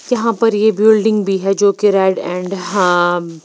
यहाँ पर ये बिल्डिंग भी है जो की रेड अँड हाँ--